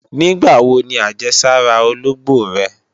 Nígbàwo ni àjẹsára ológbò rẹ?